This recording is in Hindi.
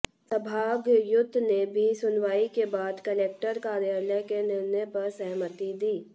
संभागायुक्त ने भी सुनवाई के बाद कलेक्टर कार्यालय के निर्णय पर सहमति दी